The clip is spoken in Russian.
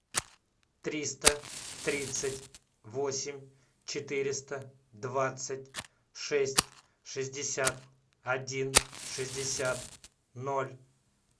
триста тридцать восемь четыреста двадцать шесть шестьдесят один шестьдесят ноль